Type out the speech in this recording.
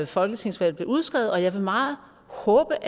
folketingsvalget blev udskrevet og jeg vil meget håbe